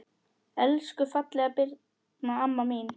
Elsku fallega Birna amma mín.